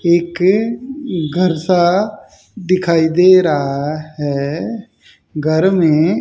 एक घर सा दिखाई दे रहा है घर में--